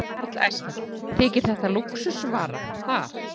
Karl Eskil: Þykir þetta lúxusvara þar?